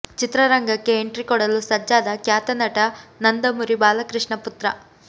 ಚಿತ್ರರಂಗಕ್ಕೆ ಎಂಟ್ರಿ ಕೊಡಲು ಸಜ್ಜಾದ ಖ್ಯಾತ ನಟ ನಂದಮುರಿ ಬಾಲಕೃಷ್ಣ ಪುತ್ರ